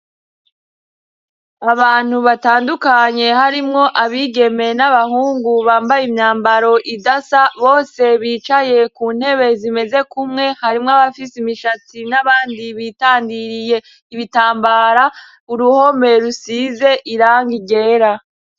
Abantu batandukanye harimwo abigemeye n'abahungu bambaye imyambaro idasa bose bicaye ku ntebe zimeze kumwe harimw' abafise imishatsi n'abandi bitandiriye ibitambara, uruhome rusize irangi ryera.